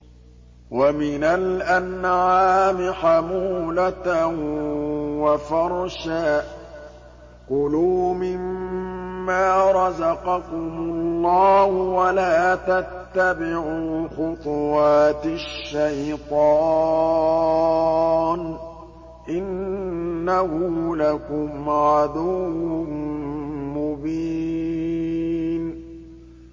وَمِنَ الْأَنْعَامِ حَمُولَةً وَفَرْشًا ۚ كُلُوا مِمَّا رَزَقَكُمُ اللَّهُ وَلَا تَتَّبِعُوا خُطُوَاتِ الشَّيْطَانِ ۚ إِنَّهُ لَكُمْ عَدُوٌّ مُّبِينٌ